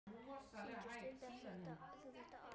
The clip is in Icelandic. Sindri: Stundar þú þetta oft?